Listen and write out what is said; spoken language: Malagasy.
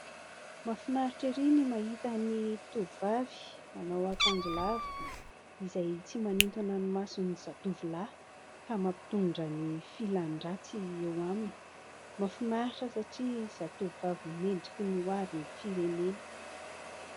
Mahafinaritra ery ny mahita ny tovovavy manao akanjo lava izay tsy manintona ny mason'ny zatovy lahy ka mampitondra ny filan-dratsy eo aminy mahafinaritra satria zatovovavy mendrika ny hoavin'ny firenena.